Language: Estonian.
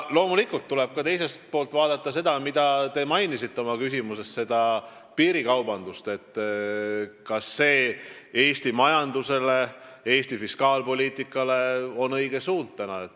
Loomulikult tuleb teisalt vaadata ka piirikaubandust, mida te oma küsimuses mainisite, ja mõelda, missugune oleks praegu Eesti majandus- ja fiskaalpoliitika õige suund.